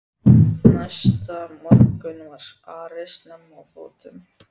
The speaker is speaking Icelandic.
Næsta morgun var Ari snemma á fótum.